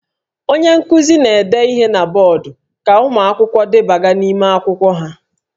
Onye nkuzi na-ede ihe na bọọdụ ka ụmụ akwụkwọ debaga n'ime akwụkwọ ha